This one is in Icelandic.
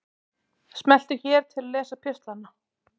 Smelltu hér til að lesa pistlana